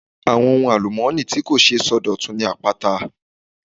Àwọn ohun àlùmọ́ọ́nì tí kò ṣeé sọdọ̀tun ni àpáta.